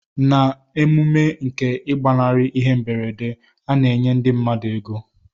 Na emume nke igbanari ihe mberede ana enye ndi mmadu ego.